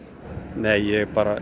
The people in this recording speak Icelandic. nei ég